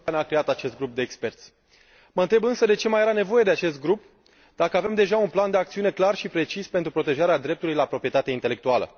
Comisia Europeană a creat acest grup de experți. Mă întreb, însă, de ce mai era nevoie de acest grup, dacă avem deja un plan de acțiune clar și precis pentru protejarea dreptului la proprietate intelectuală.